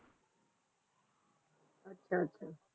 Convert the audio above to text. ਆਹ ਆਹ